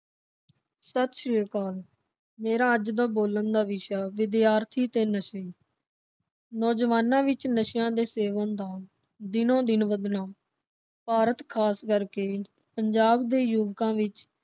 ਸਤਿ ਸ੍ਰੀ ਅਕਾਲ ਮੇਰਾ ਅੱਜ ਦਾ ਬੋਲਣ ਦਾ ਵਿਸ਼ਾ ਵਿਦਿਆਰਥੀ ਤੇ ਨਸ਼ੇ। ਨੌਜਵਾਨਾਂ ਵਿਚ ਨਸ਼ੇ ਦੇ ਸੇਵਨ ਦਾ ਦਿਨੋ ਦਿਨ ਵੱਧਣਾ ਭਾਰਤ ਖਾਸ ਕਰਕੇ ਪੰਜਾਬ ਦੇ ਯੁਵਕਾਂ ਵਿਚ